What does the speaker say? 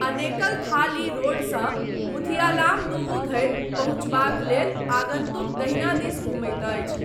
अनेकल थाली रोडसँ मुथियालामदुवु धरि पहुँचबाक लेल आगन्तुक दहिना दिस घुमैत अछि।